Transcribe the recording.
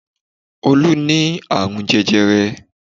Olú ní àrùn jẹjẹrẹ